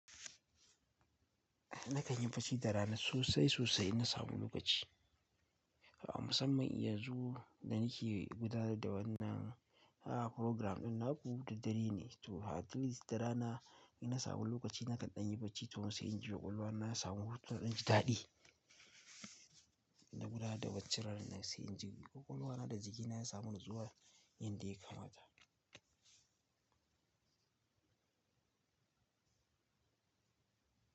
Nakan yi bacci da rana sosai sosai in na samu lokaci. A musamman yanzu da nake gudanar da wannan, AI, program ɗin, naku da dare ne. To at least da rana in na samu lokaci nakan ɗan yi bacci to sai inji kwakwalwa na ya samu hutu don jin daɗi. Na gudanar da bacci ranar sai inji kwakwalwa na da jiki na ya samu natsuwa yadda ya kamata.